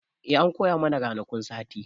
E, an koya mana ranakun sati.